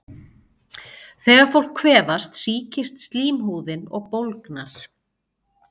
Þegar fólk kvefast sýkist slímhúðin og bólgnar.